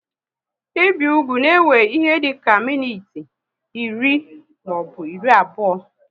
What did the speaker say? Ibi ụkwụ na ewe ihe dịka minutes iri maọbụ iri abụọ